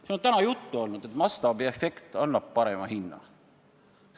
Siin on täna juttu olnud, et mastaabiefekt annab parema hinna.